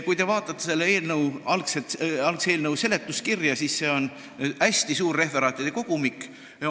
Kui te vaatate algse eelnõu seletuskirja, siis see on hästi suur referaatide kogumik.